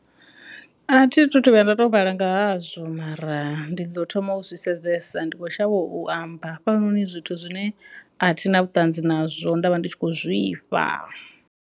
A thi thu vhuya nda to vhala ngahazwo mara ndi ḓo thoma u zwi sedzesa ndi kho shavha u amba hafhanoni zwithu zwine a thi na vhuṱanzi nazwo nda vha ndi tshi khou zwifha.